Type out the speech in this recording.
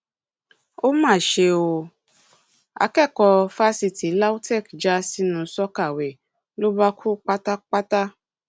ó mà ṣe ó akẹkọọ fásitì lautech já sínú sọkàwée ló bá kú pátápátá